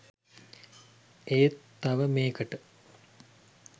ඒත් තව මේකට